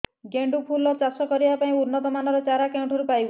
ଗେଣ୍ଡୁ ଫୁଲ ଚାଷ କରିବା ପାଇଁ ଉନ୍ନତ ମାନର ଚାରା କେଉଁଠାରୁ ପାଇବୁ